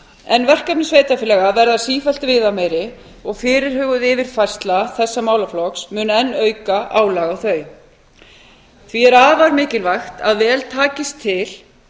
en verkefni sveitarfélaga verða sífellt viðameiri og fyrirhuguð yfirfærsla þessa málaflokks mun enn auka álag á þau því er afar mikilvægt að vel takist til